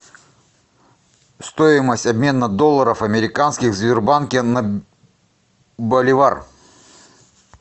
стоимость обмена долларов американских в сбербанке на боливар